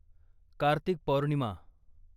Kartik Purnima